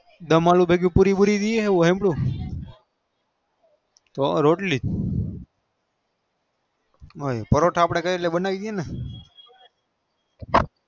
દમ આલું ભેગું પૂરી પૂરી કે એમનું કે રોટલી અપડે પરોઠા બનાવી એ